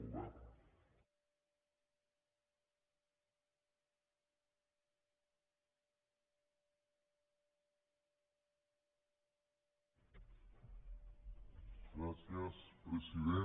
gràcies president